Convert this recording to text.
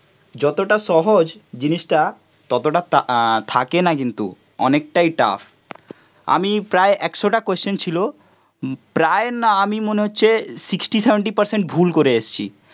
যতটা সহজ জিনিসটা ততটা তা থাকে না কিন্তু, অনেকটাই টাফ, আমি প্রায় একশোটা কোশ্চেন ছিল, প্রায় না আমি মনে হচ্ছে সিক্সটি সেভেনটি পার্সেন্ট ভুল করে এসছি